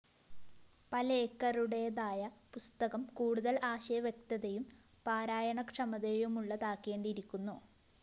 പലേക്കറുടെതായ പുസ്തകം കൂടുതല്‍ ആശയവ്യക്തതയും പാരായണക്ഷമതയുമുള്ളതാക്കേണ്ടിയിരിക്കുന്നു